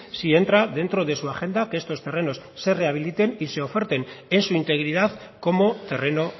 si entra dentro de su agenda que estos terrenos se rehabiliten y se oferten en su integridad como terreno